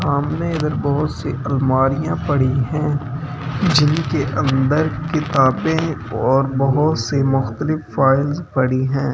हमने इधर बहुत सी अलमारियां पड़ी हैं जिनके अंदर किताबें और बहुत सी मुखतलिफ फाइल्स पड़ी हैं ।